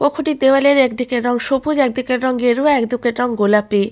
কক্ষ টি দেওয়াল এর একদিকের রং সবুজ একদিকের রং গেরুয়া একদিকের রং গোলাপি।